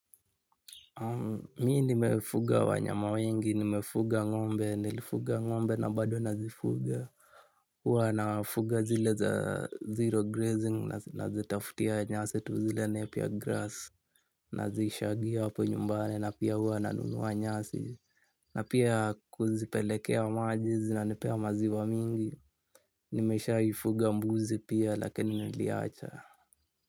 Mi nimefuga wanyama wengi nimefuga ngombe nilifuga ngombe na bado nazifuga. Hua nafuga zile za zero grazing na zitafutia nyasi tuzile nepia grass. Nazishagia hapo nyumbani na pia huwa nanunuwa nyasi na pia kuzipelekea majizi na nepea maziwa mingi. Nimeshai fuga mbuzi pia lakini niliacha.